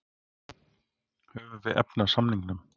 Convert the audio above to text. Höfum við efni á samningnum?